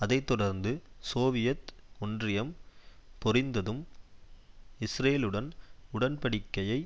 அதை தொடர்ந்து சோவியத் ஒன்றியம் பொறிந்ததும் இஸ்ரேலுடன் உடன்படிக்கையை